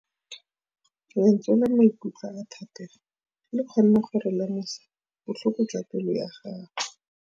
Lentswe la maikutlo a Thategô le kgonne gore re lemosa botlhoko jwa pelô ya gagwe.